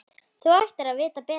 Þú ættir að vita betur!